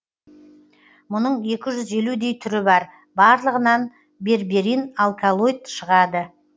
мұның екі жүз елудей түрі бар барлығынан берберин алкалоид шығады